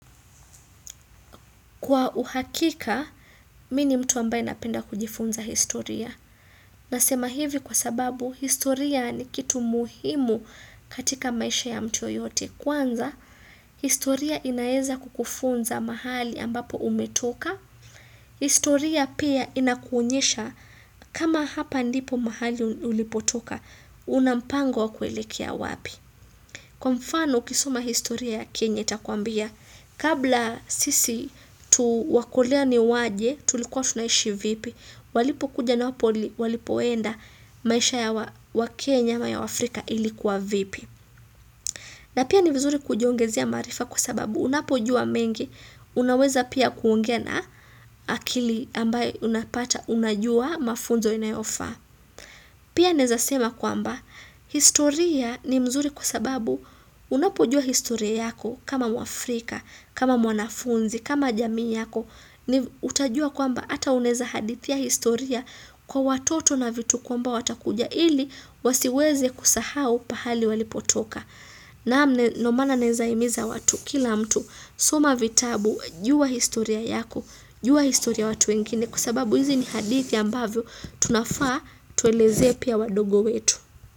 Kwa uhakika, mimi ni mtu ambaye napenda kujifunza historia. Nasema hivi kwa sababu, historia ni kitu muhimu katika maisha ya mtu yeyote. Kwanza, historia inaweza kukufunza mahali ambapo umetoka. Historia pia inakuonyesha kama hapa ndipo mahali ulipotoka, una mpango wa kuelekea wapi. Kwa mfano ukisoma historia Kenya itakwambia, kabla sisi tu wakoloni waje tulikuwa tunaishi vipi, walipokuja na napoli walipoenda maisha ya waKenya ama ya waAfrika ilikuwa vipi. Na pia ni vizuri kujiongezea maarifa kwa sababu unapojua mengi unaweza pia kuongea na akili ambayo unapata unajua mafunzo inayofaa. Pia naweza sema kwamba, historia ni mzuri kwa sababu unapojua historia yako kama mwafrika, kama mwanafunzi, kama jamii yako, utajua kwamba hata uneza hadithia historia kwa watoto na vitukuu kwamba watakuja ili wasiweze kusahau pahali walipotoka. Naam ndo maana naweza himiza watu, kila mtu, soma vitabu, jua historia yako, jua historia ya watu wengine kwa sababu hizi ni hadithi ambavyo tunafaa tueleze pia wadogo wetu.